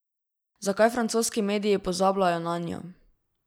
Zakaj francoski mediji pozabljajo nanjo?